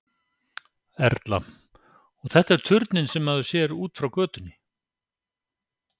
Erla: Og þetta er turninn sem maður sér út frá götunni?